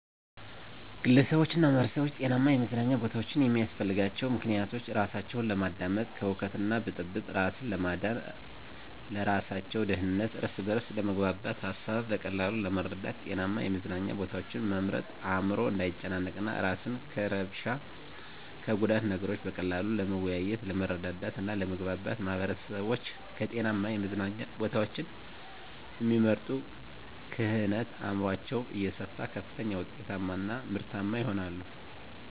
ግለሰቦችና ማህበረሰቦች ጤናማ የመዝናኛ ቦታዎችን የሚያስፈልጋቸው ምክንያቶች:-እራሳቸውን ለማዳመጥ፤ ከሁከትና ብጥብጥ እራስን ለማዳን፤ ለእራሳቸው ደህንነት፤ እርስ በርስ ለመግባባት፤ ሀሳብን በቀላሉ ለመረዳት። ጤናማ የመዝናኛ ቦታዎችን መምረጥ አዕምሮ እንዳይጨናነቅ፤ እራስን ከእርብሻ እና ከጉዳት፤ ነገሮችን በቀላሉ ለመወያየት፤ ለመረዳዳት እና ለመግባባት። ማህበረሰቦች ከጤናማ የመዝናኛ ቦታዎችን እሚመርጡ ክህነት አዕምሯቸው እየሰፋ ከፍተኛ ውጤታማ እና ምርታማ ይሆናሉ።